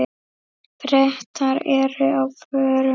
Bretar eru á förum.